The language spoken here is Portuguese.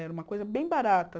Era uma coisa bem barata.